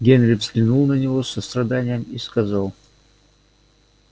генри взглянул на него с состраданием и сказал